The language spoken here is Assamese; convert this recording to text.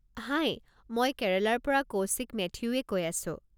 হাই, মই কেৰেলাৰ পৰা কৌশিক মেথিউয়ে কৈ আছো।